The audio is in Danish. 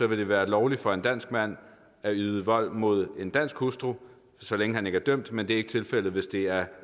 vil det være lovligt for en dansk mand at yde vold mod en dansk hustru så længe han ikke er dømt men det er ikke tilfældet hvis det er